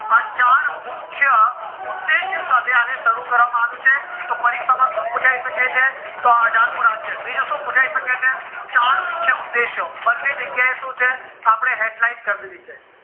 આ ચાર મુખ્ય ઉદ્દેશ્ય સાથે અને શરુ કરવામાં આવ્યું છે તો પરીક્ષામાં શું પુછાય શકે છે તો આ અઠાર મુ રાજ્ય બીજું શું પુછાય શકે છે ચાર મુખ્ય ઉદ્દેશ્ય બંને જગ્યા એ શું છે અપડે headlight કરી દીધી છે